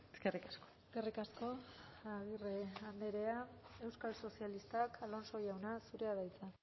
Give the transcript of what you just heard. eskerrik asko eskerrik asko agirre andrea euskal sozialistak alonso jauna zurea da hitza